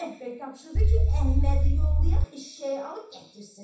Mənə bəhbəh tapşırdı ki, Əhmədi yollayaq eşşəyi alıb gətirsin.